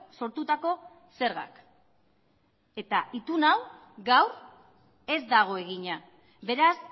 sortutako zergak eta itun hau gaur ez dago egina beraz